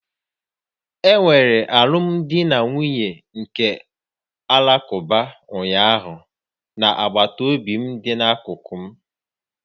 Enwere alụmdi na nwunye ndị Alakụba ụnyaahụ na agbataobi dị n'akụkụ m